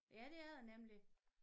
Ja det er der nemlig